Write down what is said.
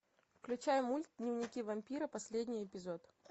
включай мульт дневники вампира последний эпизод